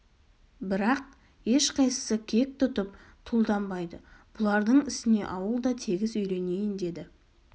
бірақ ешқайсысы кек тұтып тұлданбайды бұлардың ісіне ауыл да тегіс үйренейін деді